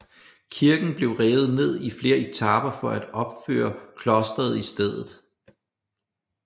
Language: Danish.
Kirken blev revet ned i flere etaper for at opføre klostret i stedet